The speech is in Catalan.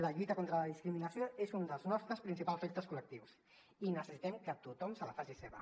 la lluita contra la discriminació és un dels nostres principals reptes col·lectius i necessitem que tothom se la faci seva